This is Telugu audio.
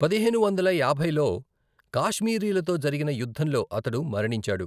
పదిహేను వందల యాభైలో కాశ్మీరీలతో జరిగిన యుద్ధంలో అతడు మరణించాడు.